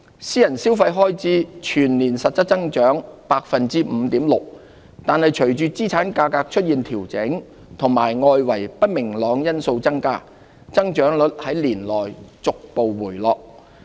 私人消費開支全年實質增長 5.6%， 但隨着資產價格出現調整及外圍不明朗因素增加，增長率在年內逐步回落。